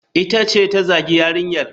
Ita ce ta zagi yarinyar.